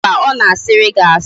Mba, ọ na-asịrị gị asị